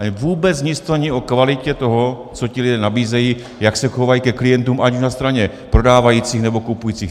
Ale vůbec nic to není o kvalitě toho, co ti lidé nabízejí, jak se chovají ke klientům, ať už na straně prodávajících, nebo kupujících.